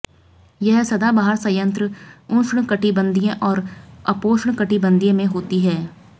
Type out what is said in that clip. यह सदाबहार संयंत्र उष्णकटिबंधीय और उपोष्णकटिबंधीय में होती है